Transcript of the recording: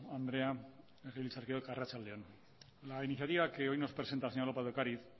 andrea legebiltzarkideok arratsalde on la iniciativa que hoy nos presenta la señora lópez de ocariz